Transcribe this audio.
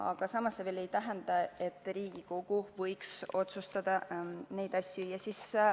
Aga see ei tähenda, et Riigikogu ei võiks asja otsustada.